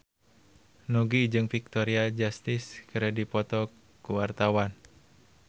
Nugie jeung Victoria Justice keur dipoto ku wartawan